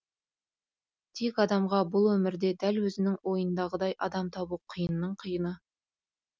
тек адамға бұл өмірде дәл өзінің ойындағыдай адам табу қиынның қиыны